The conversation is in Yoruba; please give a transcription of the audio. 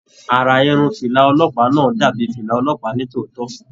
Ará Irun fìlà ọlọ́pàá náà dàbí fìlà ọlọ́pàá ni tòótọ.